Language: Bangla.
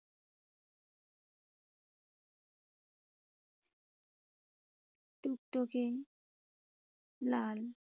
টুকটুকে লাল।